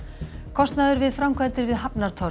kostnaður við framkvæmdir við